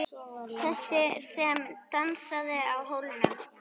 Þessi sem dansaði á hólnum.